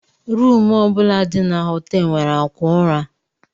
Rumu bụla dị na họtel nwere akwa ụra.